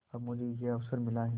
अब मुझे यह अवसर मिला है